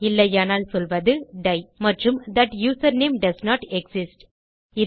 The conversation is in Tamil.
இல்லையானால் சொல்வது டை மற்றும்That யூசர்நேம் டோஸ்ன்ட் எக்ஸிஸ்ட்